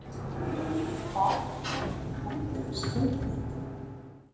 Hvað veldur skammdegisþunglyndi?